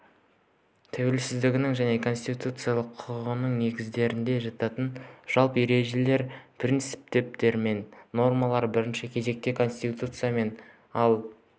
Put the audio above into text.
тәуелсіздігінің және конституциялық құрылысының негіздерінде жататын жалпы ережелер принциптер мен нормалар бірінші кезекте конституциямен ал